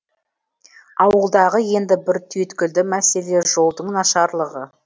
ауылдағы енді бір түйткілді мәселе жолдың нашарлығы